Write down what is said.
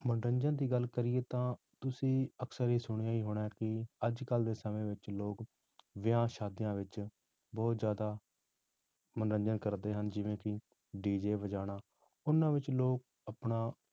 ਮਨੋਰੰਜਨ ਦੀ ਗੱਲ ਕਰੀਏ ਤਾਂ ਤੁਸੀਂ ਅਕਸਰ ਇਹ ਸੁਣਿਆ ਹੀ ਹੋਣਾ ਕਿ ਅੱਜ ਕੱਲ੍ਹ ਦੇ ਸਮੇਂ ਵਿੱਚ ਲੋਕ ਵਿਆਹਾਂ ਸ਼ਾਦੀਆਂ ਵਿੱਚ ਬਹੁਤ ਜ਼ਿਆਦਾ ਮਨੋਰੰਜਨ ਕਰਦੇ ਹਨ, ਜਿਵੇਂ ਕਿ DJ ਵਜਾਉਣਾ, ਉਹਨਾਂ ਵਿੱਚ ਲੋਕ ਆਪਣਾ